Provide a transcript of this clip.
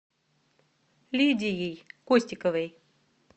лидией костиковой